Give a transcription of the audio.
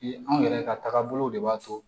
Anw yɛrɛ ka tagabolow de b'a to